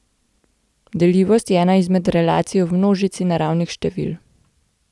Deljivost je ena izmed relacij v množici naravnih števil.